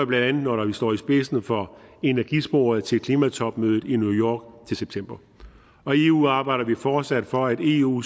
bla når vi står i spidsen for energisporet til klimatopmødet i new til september og i eu arbejder vi fortsat for at eu